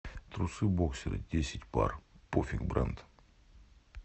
трусы боксеры десять пар пофиг бренд